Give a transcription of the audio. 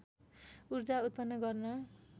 उर्जा उत्पन्न गर्न